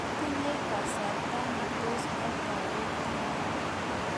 matinye kasarta ne tos atoretin